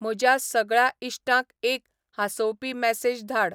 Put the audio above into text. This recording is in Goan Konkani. म्हज्या सगळ्या इश्टांक एक हांसोवपी मॅसेज धाड